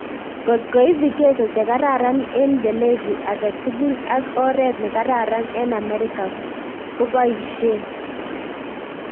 Kot koip vigezo chekaran en pelezi agetigul, ak oret ne karan en amerika kopaishen